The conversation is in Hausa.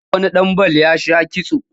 Na ga wani ɗan bal ya sha kitso